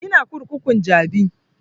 Ina kurkukun jabi